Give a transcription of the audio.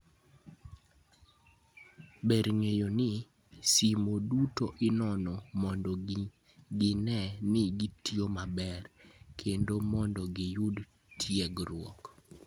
Ber ng'eyo ni, simo duto inono mondo gine ni gitiyo maber kendo mondo giyud tiegruok".